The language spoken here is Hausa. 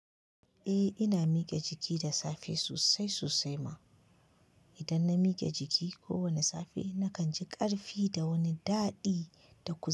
Eh ina miƙe jiki da safe sosai sosai ma. Idan na mike jiki ko wani safe, na kan ji ƙarfi da wani daɗi da ƙuzari.